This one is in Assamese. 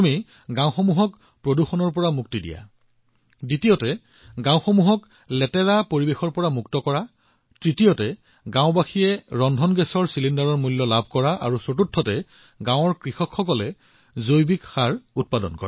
এটা হল গাওঁখনক প্ৰদূষণৰ পৰা পৰিত্ৰাণ কৰা আনটো হল লেতেৰাৰ পৰা পৰিত্ৰাণ পোৱা তৃতীয়টো হল এলপিজি চিলিণ্ডাৰৰ বাবে ধন প্ৰাপ্ত কৰা আৰু চতুৰ্থটো হৈছে গাওঁখনৰ কৃষকসকলৰ বাবে জৈৱিক সাৰৰ সৃষ্টি